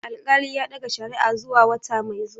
Alƙali ya ɗaga shari'a zuwa wata mai zuwa.